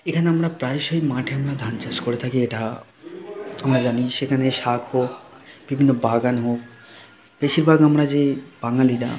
এখানে আমরা প্রায় সেই মাঠে আমরা ধান চাষ করে থাকি। এটা -আ আমরা জানি সেখানে শাক হোক বিভিন্ন বাগান হোক বেশিরভাগ আমরা যে -এ বাঙালিরা--